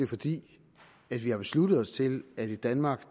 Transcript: fordi vi har besluttet os til at vi i danmark